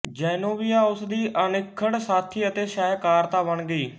Zenobia ਉਸ ਦੀ ਅਨਿੱਖੜ ਸਾਥੀ ਅਤੇ ਸਹਿਕਰਤਾ ਬਣ ਗਈ